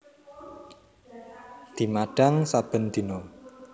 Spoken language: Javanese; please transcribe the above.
Dimadhang saben dina